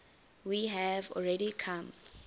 we have already come